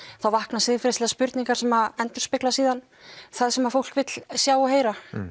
þá vakna siðferðislegar spurningar sem endurspegla það sem fólk vill sjá og heyra